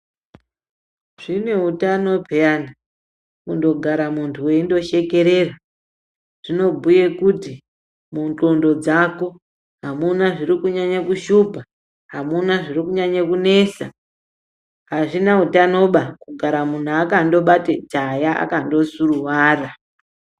Zvineutano peyana ,kundogara muntu weyindoshekerera, zvinobhuye kuti mundxondo dzako, hamuna zviri kunyanya kushupa, hamuna zviri kunyanya kunesa, hazvina utanoba, kugara muntu akandobate tsaya, akando suruwara.